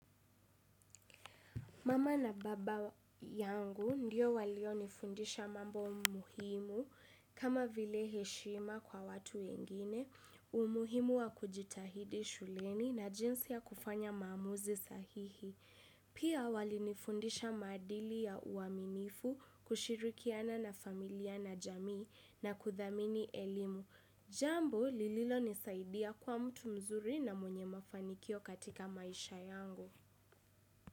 Mama na baba yangu ndiyo walionifundisha mambo muhimu kama vile heshima kwa watu wengine, umuhimu wa kujitahidi shuleni na jinsi ya kufanya maamuzi sahihi. Pia walinifundisha maadili ya uaminifu kushirikiana na familia na jamii na kuthamini elimu. Jambo lililonisaidia kuwa mtu mzuri na mwenye mafanikio katika maisha yangu.